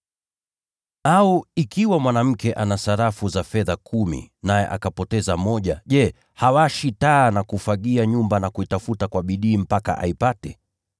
“Au ikiwa mwanamke ana sarafu za fedha kumi, naye akapoteza moja, je, hawashi taa na kufagia nyumba na kuitafuta kwa bidii mpaka aipate?